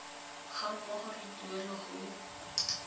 ga mmogo le tuelo go